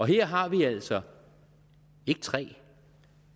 her har vi altså ikke tre